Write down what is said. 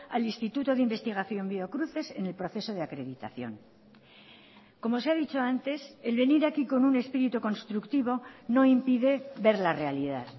al instituto de investigación biocruces en el proceso de acreditación como se ha dicho antes el venir aquí con un espíritu constructivo no impide ver la realidad